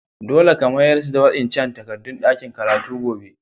Dolle ka mayars da wa'incan takadun dakin karatu gobe!